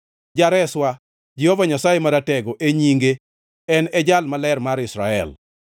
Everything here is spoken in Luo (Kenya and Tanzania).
Jareswa, Jehova Nyasaye Maratego e nyinge, en e Jal Maler mar Israel.